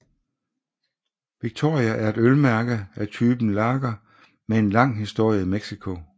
Victoria er et ølmærke af typen lager med en lang historie i Mexico